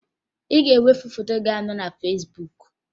Ị ga-ewepụ foto gị ahụ dị na Fesbuk!